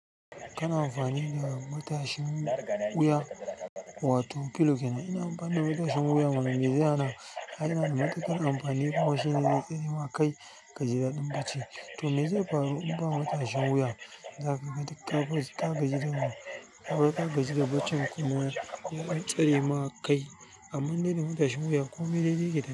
Kana amfani da matashin wuya wato pillow kenan ina amfani da matashin wuya mana mezai hana ai yana da matuƙan amfani kuma shine zai tsare ma kai kaji da ɗin bacci. To, me zai faru in ba matashin wuya? Zaka ga duk ka gaji da baccin ka gaji da baccin, kuma ya tsare ma kai. Toh amman indai da matashin wuya komai dai dai yake tafiya.